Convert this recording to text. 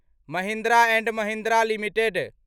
Mahindra and Mahindra limited